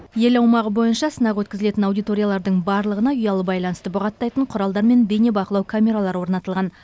ел аумағы бойынша сынақ өткізілетін аудиториялардың барлығына ұялы байланысты бұғаттайтын құралдар мен бейнебақылау камералары орнатылған